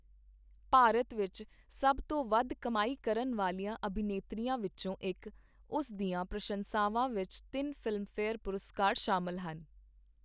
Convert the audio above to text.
ਭਾਰਤ ਵਿੱਚ ਸਭ ਤੋਂ ਵੱਧ ਕਮਾਈ ਕਰਨ ਵਾਲੀਆਂ ਅਭਿਨੇਤਰੀਆਂ ਵਿੱਚੋਂ ਇੱਕ, ਉਸ ਦੀਆਂ ਪ੍ਰਸ਼ੰਸਾਵਾਂ ਵਿੱਚ ਤਿੰਨ ਫ਼ਿਲਮਫੇਅਰ ਪੁਰਸਕਾਰ ਸ਼ਾਮਲ ਹਨ।